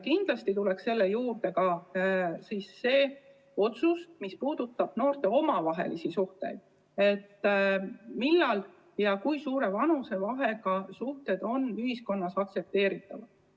Kindlasti tuleks sellega koos teha ka otsus noorte omavaheliste suhete kohta, et millal ja kui suure vanusevahega suhted on ühiskonnas aktsepteeritavad.